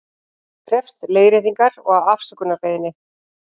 Krefst leiðréttingar og afsökunarbeiðni